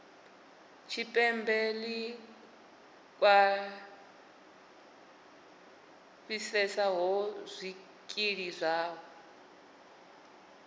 tshipembe ḽi khwaṱhisedzaho zwikili zwavho